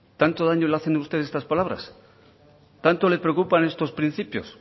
tanto daño les hace a ustedes estas palabras tanto le preocupan estos principios